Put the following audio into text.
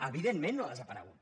evidentment no ha desaparegut